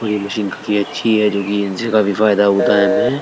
और ये मशीन काफी अच्छी है जो कि इनसे काफी फायदा होता है हमें।